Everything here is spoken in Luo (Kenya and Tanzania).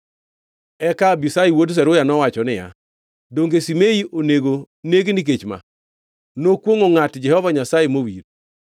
Eka Abishai wuod Zeruya nowacho niya, “Donge Shimei onego neg nikech ma? Nokwongʼo ngʼat Jehova Nyasaye mowir.”